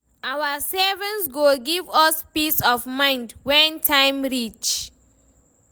Our savings go give us peace of mind when time reach.